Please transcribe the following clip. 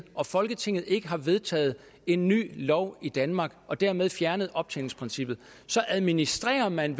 og folketinget ikke har vedtaget en ny lov i danmark og dermed fjernet optjeningsprincippet så administrerer man